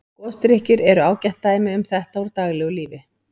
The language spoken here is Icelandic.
Gosdrykkir eru ágætt dæmi um þetta úr daglegu lífi.